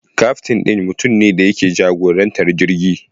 Kaftin ɗin mutum ne da ke jagorantar jirgi.